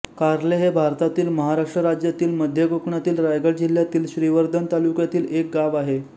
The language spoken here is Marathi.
कार्ले हे भारतातील महाराष्ट्र राज्यातील मध्य कोकणातील रायगड जिल्ह्यातील श्रीवर्धन तालुक्यातील एक गाव आहे